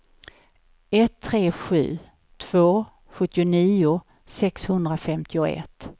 ett tre sju två sjuttionio sexhundrafemtioett